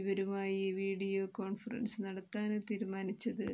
ഇവരുമായി video conference നടത്താന് തീരുമാനിച്ചത്